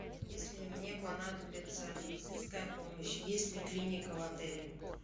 если мне понадобится медицинская помощь есть ли клиника в отеле